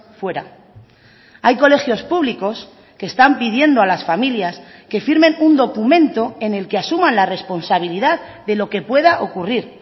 fuera hay colegios públicos que están pidiendo a las familias que firmen un documento en el que asuman la responsabilidad de lo que pueda ocurrir